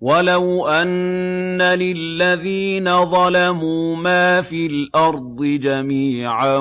وَلَوْ أَنَّ لِلَّذِينَ ظَلَمُوا مَا فِي الْأَرْضِ جَمِيعًا